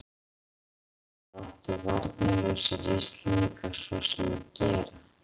Og hvað áttu varnarlausir Íslendingar svo sem að gera?